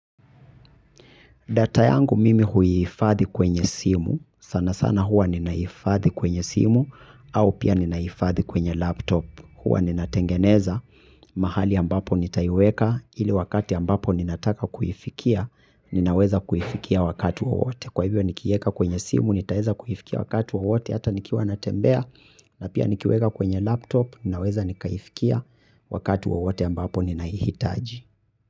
Data yangu mimi huhifadhi kwenye simu, sanasana huwa ninahifadhi kwenye simu, au pia ninahifadhi kwenye laptop, huwa ninatengeneza, mahali ambapo nitaiweka, ili wakati ambapo ninataka kuifikia, ninaweza kuifikia wakati wowote. Kwa hivyo nikieka kwenye simu, nitaeza kuifikia wakati wowote, hata nikiwa natembea, na pia nikiweka kwenye laptop, ninaweza nikaifikia wakati wowote ambapo ninaihitaji.